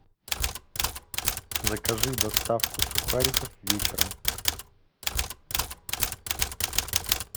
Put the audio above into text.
закажи доставку сухариков вечером